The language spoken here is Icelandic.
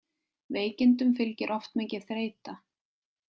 Veikindum fylgir oft mikil þreyta.